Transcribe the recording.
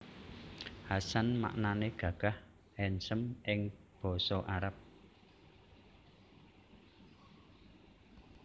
Hasan maknané gagah/handsome ing Basa Arab